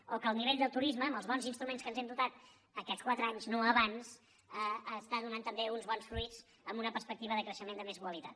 o que el nivell del turisme amb els bons instruments dels quals ens hem dotat aquests quatre anys no abans està donant també uns bons fruits amb una perspectiva de creixement de més qualitat